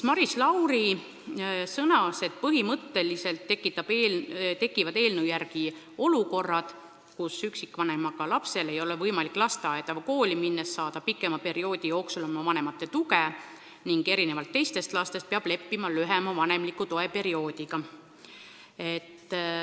Maris Lauri sõnas, et põhimõtteliselt tekivad eelnõu kohaselt olukorrad, kus üksikvanemaga lapsel ei ole võimalik lasteaeda või kooli minnes saada pikema perioodi jooksul oma vanemate tuge ning erinevalt teistest lastest peab ta leppima lühema vanemliku toe perioodiga.